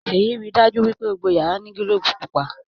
Seyi rí dájú wípé gbogbo yàrá ní gilobu pupa.